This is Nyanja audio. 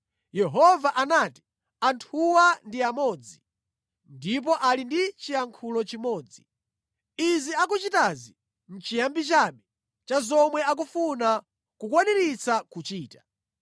Yehova anati, “Anthuwa ndi amodzi, ndipo ali ndi chiyankhulo chimodzi. Izi akuchitazi nʼchiyambi chabe cha zomwe akufuna kukwaniritsa kuchita.